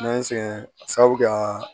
N'an sɛgɛn sabu ka